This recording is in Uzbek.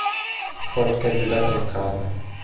Sportga juda qiziqardi.